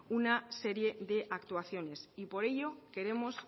una serie de actuaciones y por ello queremos